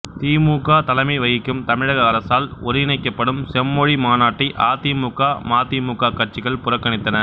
திமுக தலைமை வகிக்கும் தமிழக அரசால் ஒருங்கிணைக்கப்படும் செம்மொழி மாநாட்டை அதிமுக மதிமுக கட்சிகள் புறக்கணித்தன